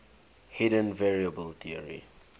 hidden variable theory